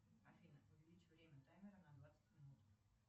афина увеличь время таймера на двадцать минут